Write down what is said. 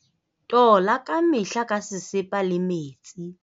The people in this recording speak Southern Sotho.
tola ka mehla ka sesepa le metsi.